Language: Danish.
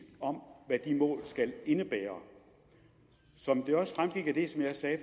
om hvad de mål skal indebære som det også fremgik af det som jeg sagde